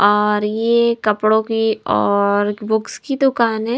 और ये कपड़ों की और बुक्स की दुकान है।